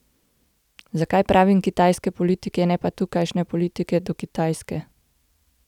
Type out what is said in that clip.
Zakaj pravim kitajske politike, ne pa tukajšnje politike do Kitajske?